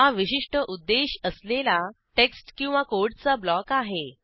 हा विशिष्ट उद्देश असलेला टेक्स्ट किंवा कोडचा ब्लॉक आहे